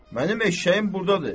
Mənim eşşəyim burdadır.